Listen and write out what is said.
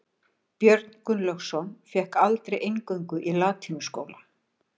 Björn Gunnlaugsson fékk aldrei inngöngu í latínuskóla.